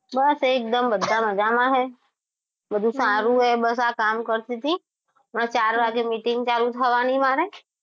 બસ એકદમ બધા મજામાં છે બધું સારું હે બસ આ કામ કરતી હતી ચાર વાગે meeting ચાલુ થવાની મારે